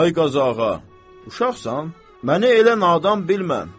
Ay Qazağa, uşaqsan, məni elə nadan bilmə.